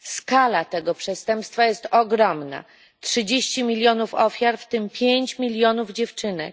Skala tego przestępstwa jest ogromna 30 milionów ofiar, w tym 5 milionów dziewczynek.